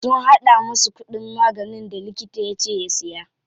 Sun haɗa masa kuɗin maganin da likita yace ya siya.